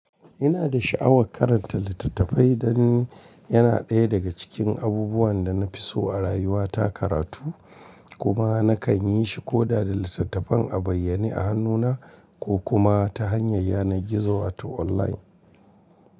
Ina da sha'awar karanta littattafai dan yana ɗaya daga cikin abubuwan da na fi so a rayuwa ta karatu kuma nakan yi shi ko da da littattafan a bayyane a hannuna ko kuma ta hanyar yanar gizo wato online.